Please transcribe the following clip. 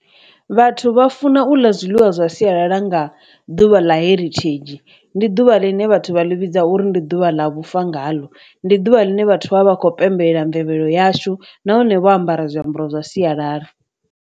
Vhathu vha funa u ḽa zwiḽiwa zwa sialala nga ḓuvha ḽa heritage ndi ḓuvha ḽine vhathu vha ḽi vhidza uri ndi ḓuvha ḽa vhufa ngalo, ndi ḓuvha ḽine vhathu vha vha khou pembelela mvelelo yashu nahone vho ambara zwiambaro zwa sialala.